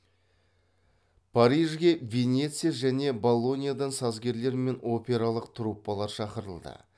парижге венеция мен болоньядан сазгерлер мен опералық труппалар шақырылды